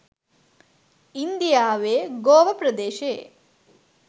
ඉන්දියාවේ ගෝව ප්‍රදේශයේ